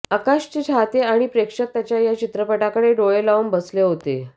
आकाशचे चाहते आणि प्रेक्षक त्याच्या या चित्रपटाकडे डोळे लावून बसले होते